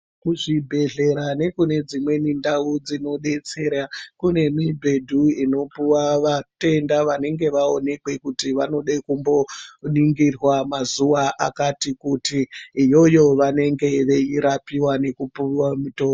Kuzvibhedhlera nekune dzimweni ndau dzinodetsera, kune mibhedhu, inopuwa vatenda vanenge vaonekwe kuti, vanode kumboningirwa mazuwa akati kuti, Iyoyo vanenge veirapiwa nekupuwa mitombo.